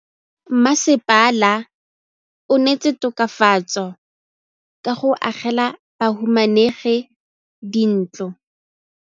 Mmasepala o neetse tokafatsô ka go agela bahumanegi dintlo.